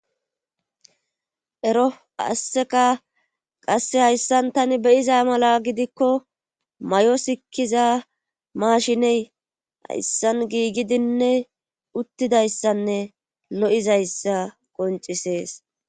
ero asseka qasse hayssan tani beyiza mala gidikko may7o sikkiza maashiney hayssan giigidinne uttidayssanne lo7izayssa qoncisees